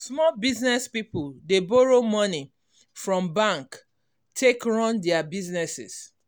small business people dey borrow money from bank take run their business.